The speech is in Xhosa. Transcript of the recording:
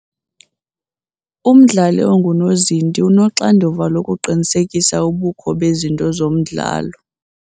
Umdlali ongunozinti unoxanduva lokuqinisekisa ubukho bezinto zomdlalo.